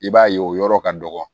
I b'a ye o yɔrɔ ka dɔgɔ